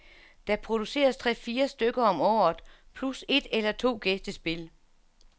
Der produceres tre til fire stykker om året plus et eller to gæstespil.